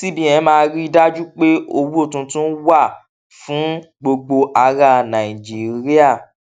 cbn máa ríi dájú pé owó tuntun wà fún gbogbo ará nàìjíríà